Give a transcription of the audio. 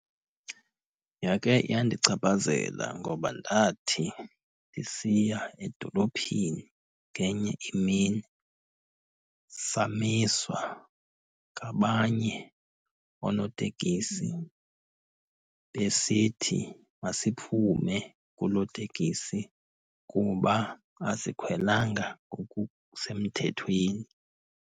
Yakhe yandichaphazela ngoba ndathi ndisiya edolophini ngenye imini, samiswa ngabanye oonotekisi besithi masiphume kuloo tekisi kuba asikhwelanga ngokusemthethweni.